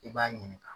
I b'a ɲininka